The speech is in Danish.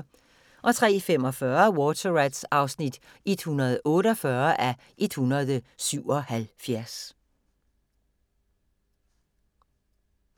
03:45: Water Rats (148:177)